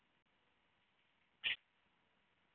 Ég ætla heim!